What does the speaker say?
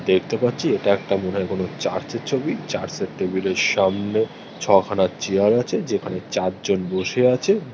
দেখতে পাচ্ছি এটা একটা মনে হয় কোন চার্চের ছবিই চার্চের টেবিল এর সামনে ছখানা চেয়ার আছে যেখানে চারজন বসে আছে ।